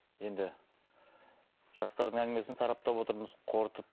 енді жастардың әңгімесін сараптап отырмыз қорытып